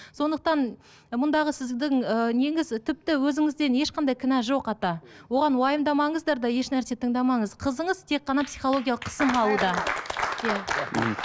сондықтан мұндағы сіздің ыыы неңіз тіпті өзіңізден ешқандай кінә жоқ ата оған уайымдамаңыздар да еш нәрсе тыңдамаңыз қызыңыз тек қана психологиялық қысым алуда иә мхм